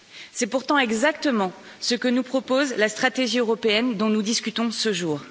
C'est pourtant exactement ce que nous propose la stratégie européenne dont nous discutons ce jour.